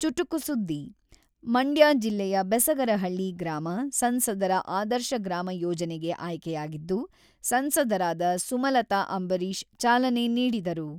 ಚುಟುಕು ಸುದ್ದಿ: ಮಂಡ್ಯ ಜಿಲ್ಲೆಯ ಬೆಸಗರಹಳ್ಳಿ ಗ್ರಾಮ, ಸಂಸದರ ಆದರ್ಶ ಗ್ರಾಮ ಯೋಜನೆಗೆ ಆಯ್ಕೆಯಾಗಿದ್ದು, ಸಂಸದರಾದ ಸುಮಲತಾ ಅಂಬರೀಷ್ ಚಾಲನೆ ನೀಡಿದರು.